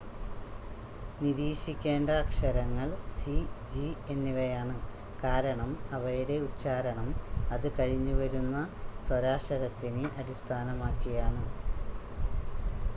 നിരീക്ഷിക്കേണ്ട അക്ഷരങ്ങൾ C G എന്നിവയാണ് കാരണം അവയുടെ ഉച്ചാരണം അത് കഴിഞ്ഞ് വരുന്ന സ്വരാക്ഷരത്തിനെ അടിസ്ഥാനമാക്കിയാണ്